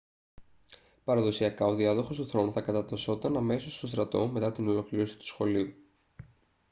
παραδοσιακά ο διάδοχος του θρόνου θα κατατασσόταν αμέσως στον στρατό μετά την ολοκλήρωση του σχολείου